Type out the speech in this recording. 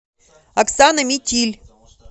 оксана митиль